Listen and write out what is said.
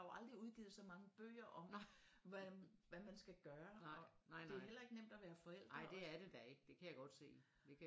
Der er jo aldrig udgivet så mange bøger om hvad man skal gøre og det er heller ikke nemt at være forældre